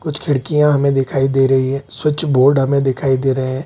कुछ खिड़किया हमे दिखाई दे रहे हैं । स्विच बोर्ड हमें दिखाई दे रहे हैं।